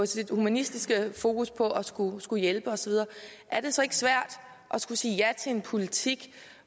sit humanistiske fokus på at skulle skulle hjælpe osv at skulle sige ja til en politik